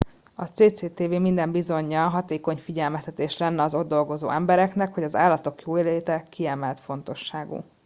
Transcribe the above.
a cctv minden bizonyal hatékony figyelmeztetés lenne az ott dolgozó embereknek hogy az állatok jóléte kiemelt fontosságú